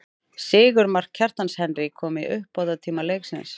Sigurmark, Kjartans Henry kom í uppbótartíma leiksins.